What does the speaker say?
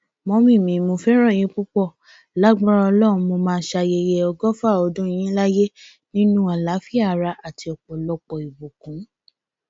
mọmì mo fẹràn yín púpọ lágbára ọlọrun mo máa ṣayẹyẹ ọgọfà ọdún yín láyé nínú àlàáfíà ara àti ọpọlọpọ ìbùkún